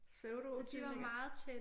Pseudotvillinger